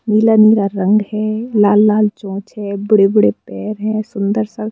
नीला नील रंग है लाल लाल चोंच है बड़े बड़े पैर है सुंदर सा--